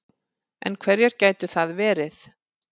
En hverjar gætu þær verið